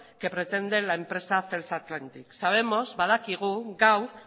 que pretende la empresa celsa atlantic sabemos badakigu gaur